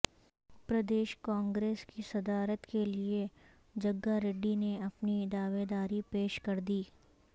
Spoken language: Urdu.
پردیش کانگریس کی صدارت کے لیے جگاریڈی نے اپنی دعویداری پیش کردی